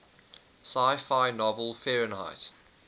sci fi novel fahrenheit